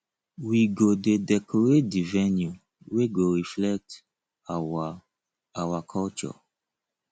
we go dey decorate di venue wey go reflect our our culture